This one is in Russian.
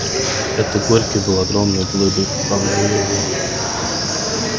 это горький был огромной глыбой поправляю его я